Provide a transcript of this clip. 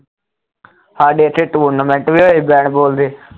ਸਾਡੇ ਇੱਥੇ tournament ਵੀ ਹੋਏ bat ball ਦੇ